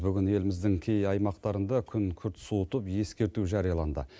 бүгін еліміздің кей аймақтарында күн күрт суытып ескерту жарияланды